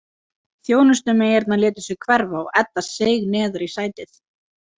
Þjónustumeyjarnar létu sig hverfa og Edda seig neðar í sætið.